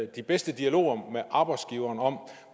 de bedste dialoger med arbejdsgiveren om